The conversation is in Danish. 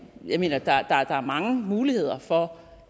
jeg mener der er mange muligheder for